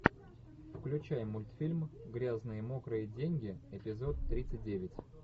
включай мультфильм грязные мокрые деньги эпизод тридцать девять